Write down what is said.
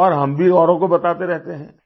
और हम भी औरों को बताते रहते हैं